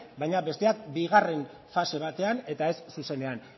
baina besteak bigarren fase batean eta ez zuzenean